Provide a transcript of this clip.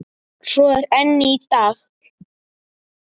Svo er enn í dag.